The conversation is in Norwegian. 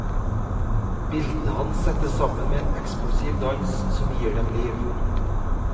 Bildene hans settes sammen med en eksplosiv dans som gir dem liv.